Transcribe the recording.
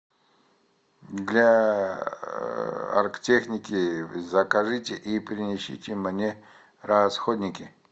для оргтехники закажите и принесите мне расходники